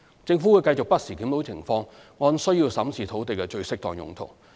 政府會繼續不時檢討情況，按需要審視土地的最適當用途。